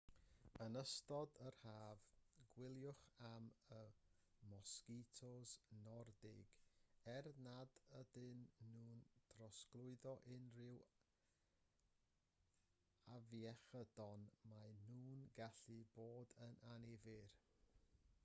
yn ystod yr haf gwyliwch am y mosgitos nordig er nad ydyn nhw'n trosglwyddo unrhyw afiechydon maen nhw'n gallu bod yn annifyr